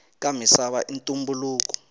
ka misava i ntumbuluko